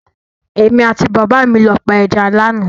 Èmi àti bàbá mi lọ pa ẹja lánàá.